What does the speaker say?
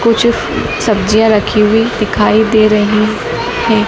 कुछ सब्जियां रखी हुई दिखाई दे रही है।